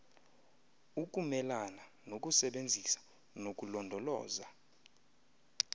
ukumelana nokusebenzisa nokulondoloza